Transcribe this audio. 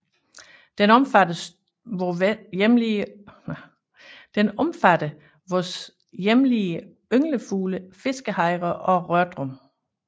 Den omfatter vore hjemlige ynglefugle fiskehejre og rørdrum